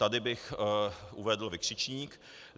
Tady bych uvedl vykřičník.